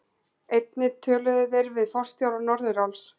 Einnig töluðu þeir við forstjóra Norðuráls